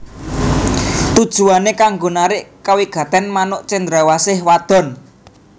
Tujuwané kanggo narik kawigatèn manuk cendrawasih wadon